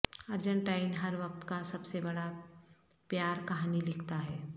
Argentine ہر وقت کا سب سے بڑا پیار کہانی لکھتا ہے